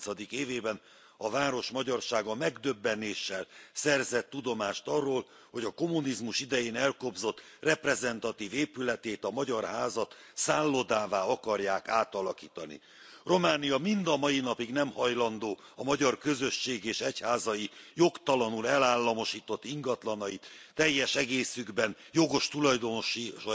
30. évében a város magyarsága megdöbbenéssel szerzett tudomást arról, hogy a kommunizmus idején elkobzott reprezentatív épületét, a Magyar Házat szállodává akarják átalakítani. Románia mind a mai napig nem hajlandó a magyar közösség és egyházai jogtalanul elállamosított ingatlanait teljes egészükben jogos tulajdonosaiknak